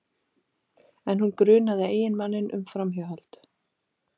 En hún grunaði eiginmanninn um framhjáhald